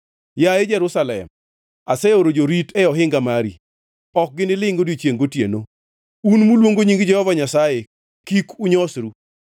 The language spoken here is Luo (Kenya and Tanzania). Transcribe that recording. Yaye Jerusalem, aseoro jorit e ohinga mari ok ginilingʼ odiechiengʼ gotieno. Un muluongo nying Jehova Nyasaye kik unyosru,